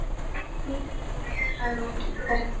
Göturnar voru eyðilegar og enginn á ferli.